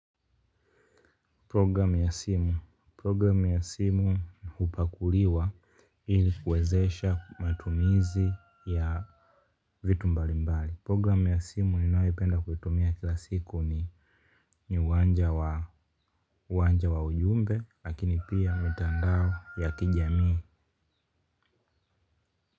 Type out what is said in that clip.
Programu ya simu programu ya simu hupakuliwa ili kuwezesha matumizi ya vitu mbalimbali. Programu ya simu ninayoipenda kuitumia kila siku ni uwanja wa uwanja wa ujumbe lakini pia mitandao ya kijamii.